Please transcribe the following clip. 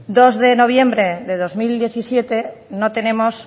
dos de noviembre de dos mil diecisiete no tenemos